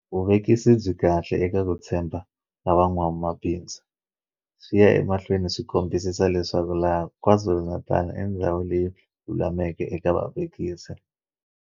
Vuvekisi byi kahle eka ku tshemba ka van'wama bindzu. Swi ya emahlweni swi kombisa leswaku laha KwaZulu-Natal i ndhawu leyi lulameleke eka vavekisi.